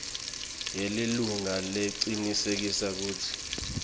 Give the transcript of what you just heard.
yelilunga lecinisekisa kutsi